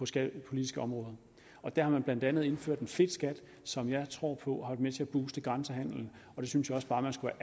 skattepolitiske område og der har man blandt andet indført en fedtskat som jeg tror på har været med til at booste grænsehandelen og det synes jeg også bare man skulle